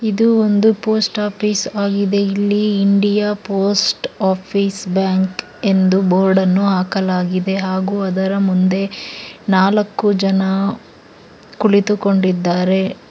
ಇದು ಒಂದು post office ಆಗಿದೆ ಇಲ್ಲಿ ಇಂಡಿಯಾ ಪೋಸ್ಟ್ ಆಫೀಸ್ ಬ್ಯಾಂಕ್ ಎಂದು ಬೋರ್ಡ ನ್ನು ಹಾಕಲಾಗಿದೆ ಹಾಗೂ ಅದರ ಮುಂದೆ ನಾಲ್ಕು ಜನ ಕುಳಿತುಕೊಂಡಿದ್ದಾರೆ.